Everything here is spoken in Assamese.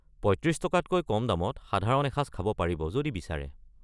৩৫ টকাতকৈ কম দামত সাধাৰণ এসাঁজ খাব পাৰিব যদি বিচাৰে।